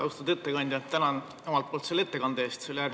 Austatud ettekandja, tänan omalt poolt selle ettekande eest!